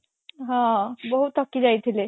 ହଁ ବହୁତ ଥକି ଯାଇଥିଲେ